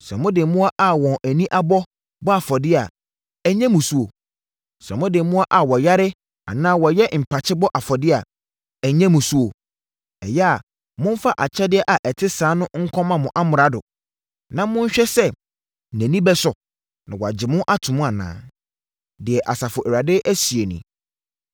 Sɛ mode mmoa a wɔn ani abɔ bɔ afɔdeɛ a, ɛnyɛ mmusuo? Sɛ mode mmoa a wɔyare anaa wɔyɛ mpakye bɔ afɔdeɛ a, ɛnyɛ mmusuo? Ɛyɛ a, momfa akyɛdeɛ a ɛte saa no nkɔma mo amrado, na monhwɛ sɛ, nʼani bɛsɔ na wagye wo ato mu anaa?” Deɛ Asafo Awurade seɛ nie.